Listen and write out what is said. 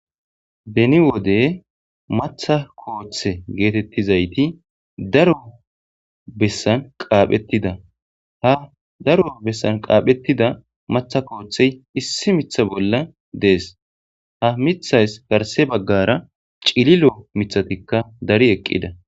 Beni wode maatha koothe getetizayti daro bessan qaaphetida ha daro bessan qaaphetida matha koothey issi mitha bolla de'ees ha mithas qase garsa bagara cililo mithatka dari eqida